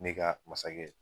Ne ka masakɛ